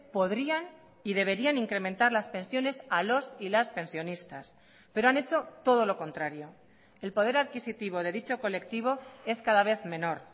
podrían y deberían incrementar las pensiones a los y las pensionistas pero han hecho todo lo contrario el poder adquisitivo de dicho colectivo es cada vez menor